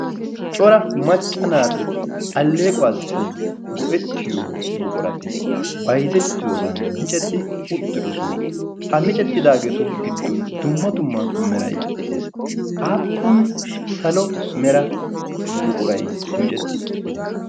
Cora macca naati alleequwaassi go'ettiyo buqurati byizettiyo zan micetti uttidosona. ha micettidaageetu giddon dumma dumma merai de7ees. aappun salo mera buquray micetti uttide?